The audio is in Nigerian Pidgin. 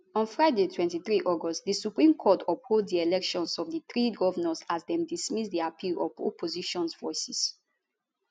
on friday 23 august di supreme court uphold di elections of di three govnors as dem dismiss di appeal of opposition voices